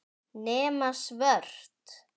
Nema svört.